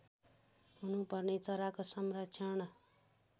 हेर्नुपर्ने चराको संरक्षण